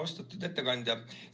Austatud ettekandja!